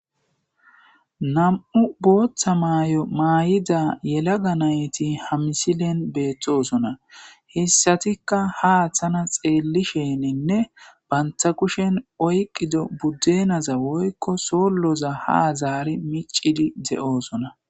Nam'u booththa maayo maay'ida yelaga nayti hamisilen beettosona hessatikka ha aththana xeelli sheeninne banta kushen oyqido buddenaza woykko soolloza ha zaari micidi de'oosona.